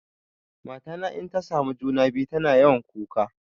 Mata na inta samu juna-biyu tana yawan kuka.